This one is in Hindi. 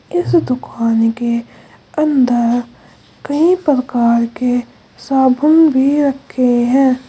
इस दुकान के अंदर कई प्रकार के साबुन भी रखे हैं।